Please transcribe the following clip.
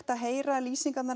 að heyra lýsingarnar